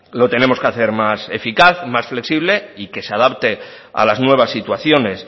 lo tenemos que hacer más eficaz más flexible y que se adapte a las nuevas situaciones